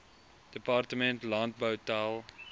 departement landbou tel